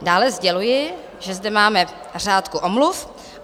Dále sděluji, že zde máme řádku omluv.